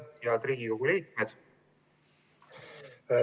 Head Riigikogu liikmed!